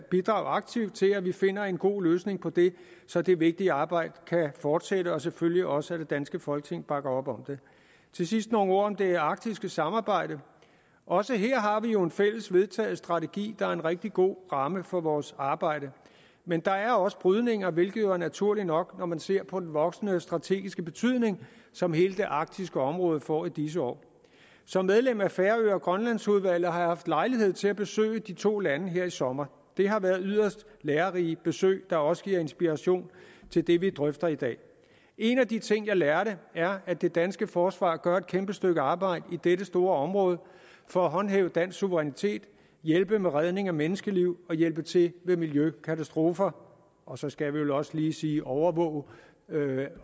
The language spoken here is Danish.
bidrage aktivt til at vi finder en god løsning på det så det vigtige arbejde kan fortsætte og selvfølgelig også at det danske folketing bakker op om det til sidst nogle ord om det arktiske samarbejde også her har vi jo en fælles vedtaget strategi der er en rigtig god ramme for vores arbejde men der er også brydninger hvilket jo er naturligt nok når man ser på den voksende strategiske betydning som hele det arktiske område får i disse år som medlem af færø og grønlandsudvalget har jeg haft lejlighed til at besøge de to lande her i sommer det har været yderst lærerige besøg der også giver inspiration til det vi drøfter i dag en af de ting jeg lærte er at det danske forsvar gør et kæmpe stykke arbejde i dette store område for at håndhæve dansk suverænitet hjælpe med redning af menneskeliv og hjælpe til ved miljøkatastrofer og så skal vi vel også lige sige overvåge